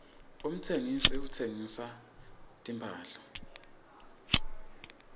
umtsengisi uhsengisa timphahla